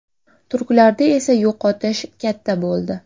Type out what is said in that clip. Turklarda esa yo‘qotish katta bo‘ldi.